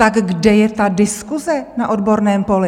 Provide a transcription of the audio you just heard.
Tak kde je ta diskuse na odborném poli?